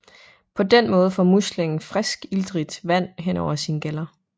På den måde får muslingen friskt iltrigt vand hen over sine gæller